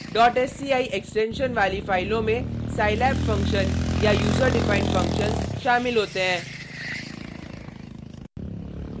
sci extension वाली फाइलों में scilab फंक्शन या user defined फंक्शन्स शामिल होते हैं